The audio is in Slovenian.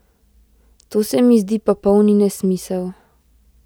To se mi zdi popolni nesmisel.